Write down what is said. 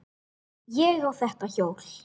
Ég á þetta hjól!